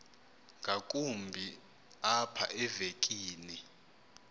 ngakumbi apha evekini